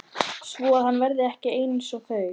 Svoað hann verði ekki einsog þau.